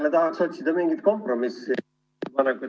Mina tahaks jälle otsida mingit kompromissi.